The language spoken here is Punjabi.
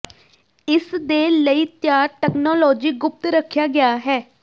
ਇਸ ਦੇ ਲਈ ਤਿਆਰ ਤਕਨਾਲੋਜੀ ਗੁਪਤ ਰੱਖਿਆ ਗਿਆ ਹੈ